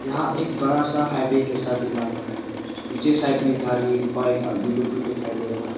यहां एक बड़ा सा हाईवे जैसा भी लग रहा है पीछे साइड में गारी बाइक आदमी लोग भी दिखाई दे रहा है।